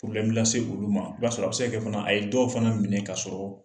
lase olu ma i b'a sɔrɔ a be se ka kɛ fana a ye dɔw fana minɛ ka sɔrɔ